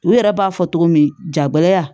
U yɛrɛ b'a fɔ cogo min jagoya